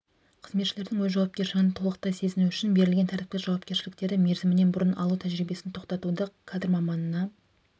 қызметшілердің өз жауапкершілігін толықтай сезіну үшін берілген тәртіптік жауапкершіліктерді мерзімінен бұрын алу тәжірибесін тоқтатуды кадр маманына